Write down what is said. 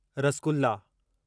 rasgulla